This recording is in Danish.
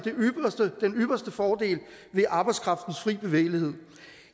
den ypperste fordel ved arbejdskraftens fri bevægelighed